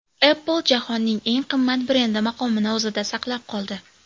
Apple jahonning eng qimmat brendi maqomini o‘zida saqlab qoldi.